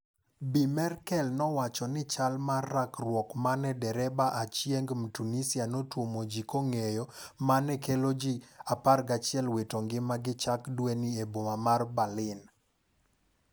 Bi Merkel, nowacho ni chal mar rakruok mane derebaachieng Mtunisia notuomo ji kong'eyo mano kelo ji 11 wito ngimagi chak dweni e boma mar Berlin.